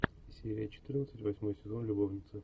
серия четырнадцать восьмой сезон любовница